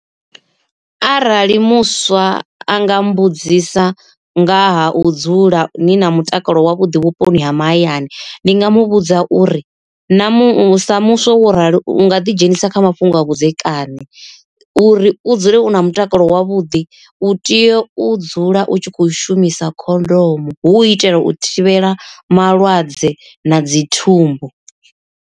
Arali muswa anga mbudzisa nga ha u dzula ni na mutakalo wavhuḓi vhuponi ha mahayani ndi nga muvhudza uri, na sa muswa wo rali u nga ḓi dzhenisa kha mafhungo a vhudzekani, u ri u dzule u na mutakalo wavhuḓi u tea u dzula u tshi kho shumisa khondomo hu u itela u thivhela malwadze na dzi thumbu.